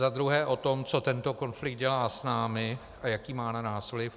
Za druhé o tom, co tento konflikt dělá s námi a jaký má na nás vliv.